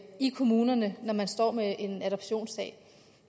i kommunerne når man står med en adoptionssag